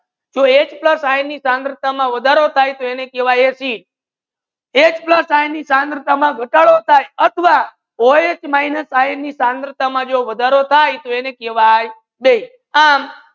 H plus ion ની સાંદ્રતા મા વધારો થી એની કેહવાયે acid એચ પ્લસ આયન ની સાંદ્રતા મા ગાતાડો થાય આથવા ઓએચ માઈનસની સાંદ્રતા જો વધરો થાય થી એની કેહવાયે બેઝ